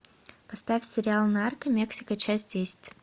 поставь сериал нарко мексика часть десять